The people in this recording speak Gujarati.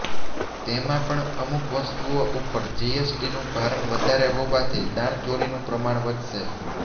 તેમાં પણ અમુક વસ્તુઓ ઉપર જીએસટીનું ભારણ વધારે હોવાથી દાણચોરીનું પ્રમાણ વધશે